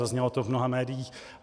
Zaznělo to v mnoha médiích.